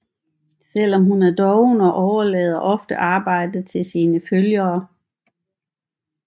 Selv er hun doven og overlader ofte arbejdet til sine følgere